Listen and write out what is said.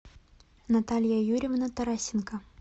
наталья юрьевна тарасенко